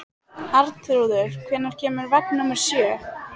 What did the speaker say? Arnþrúður, hvenær kemur vagn númer sjö?